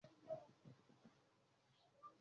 Imúdání ló máa ń mú kí olokada yí ọwọ́ sí ibi tí ó bá wù ú.